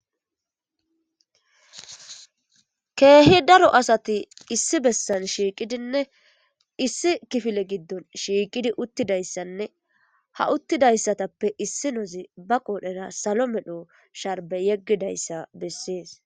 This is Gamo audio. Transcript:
keehi daro asati issi bessan shiiqidinne issi kifile giddon shiiqidi uttidayssanne ha uttidayssatappe issi nozi ba qoodhera salo medho sharbe yeggidayssa bessees